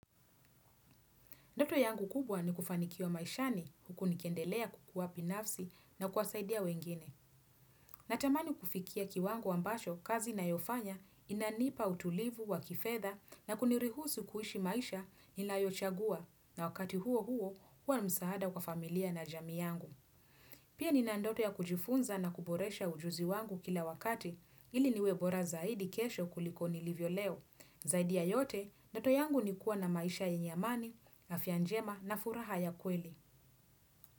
Ndoto yangu kubwa ni kufanikiwa maishani huku nikendelea kukuwa binafsi na kuwasaidia wengine. Natamani kufikia kiwango ambacho kazi ninayofanya inanipa utulivu wa kifedha na kuniruhusu kuishi maisha ninayochagua na wakati huo huo huwa ni msaada kwa familia na jamii yangu. Pia nina ndoto ya kujifunza na kuboresha ujuzi wangu kila wakati ili niwe bora zaidi kesho kuliko nilivyo leo. Zaidi ya yote, ndoto yangu ni kuwa na maisha yenye amani, afya njema na furaha ya kweli.